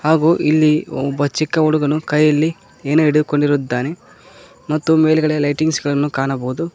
ಹಾಗು ಇಲ್ಲಿ ಒಬ್ಬ ಚಿಕ್ಕ ಹುಡುಗನು ಕೈಯಲ್ಲಿ ಏನೋ ಹಿಡಿದು ಕೊಂಡಿರುದ್ದಾನೆ ಮತ್ತು ಮೇಲ್ಗಡೆ ಲೈಟಿಂಗ್ಸ್ ಗಳನ್ನು ಕಾಣಬಹುದು.